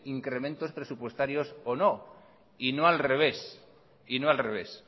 incrementos presupuestarios o no y no al revés